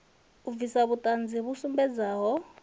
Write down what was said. u bvisa vhuṱanzi vhu sumbedzaho